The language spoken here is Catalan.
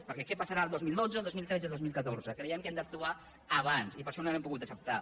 perquè què passarà el dos mil dotze el dos mil tretze o dos mil catorze creiem que hem d’actuar abans i per això no l’hem pogut acceptar